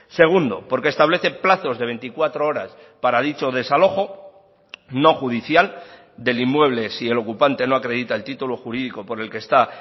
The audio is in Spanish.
segundo porque establece plazos de veinticuatro horas para dicho desalojo no judicial del inmueble si el ocupante no acredita el título jurídico por el que está